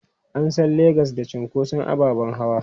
An san Legas da cunkoson ababen hawa.